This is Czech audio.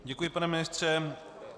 Děkuji, pane ministře.